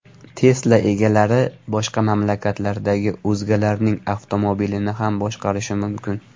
Tesla egalari boshqa mamlakatlardagi o‘zgalarning avtomobilini ham boshqarishi mumkin.